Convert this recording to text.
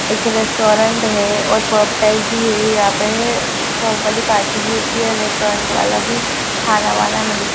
एक रेस्टोरेंट है और पब टाइप भी है यहाँ पे पब वाली पार्टी भी होती है रेस्टोरेंट वाला भी खाना वाना मिलता --